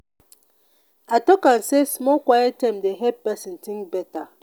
i tok am sey small quiet time dey help pesin tink better.